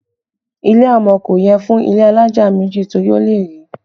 Ilẹ̀ amọ̀ kò yẹ fún ilé alájà méjì torí ó lè rì